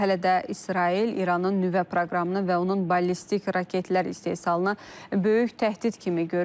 Hətta İsrail İranın nüvə proqramını və onun ballistik raketlər istehsalına böyük təhdid kimi görür.